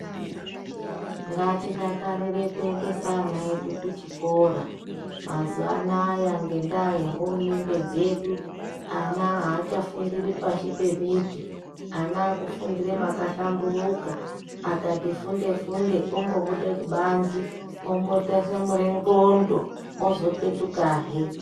Ngatidakarire kuendesa vana vedu kuchikora, mazuwa anaya ngendaa yehurumende dzedu, ana achafundiri pashi pemuti, ana akufundire pakahlamburika, vakati funde-funde vomboda kubanze vo